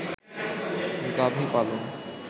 গাভী পালন